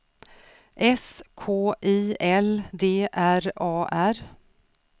S K I L D R A R